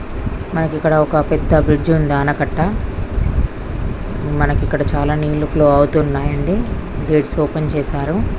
మనకి ఇక్కడ ఒక పెద్ద బ్రిడ్జి ఉంది ఆనకట్ట. మనకి ఇక్కడ చాలా నీళ్లు ఫ్లో అవుతూ ఉన్నాయి అండి. గేట్స్ ఓపెన్ చేసారు.